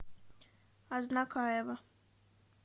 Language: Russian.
азнакаево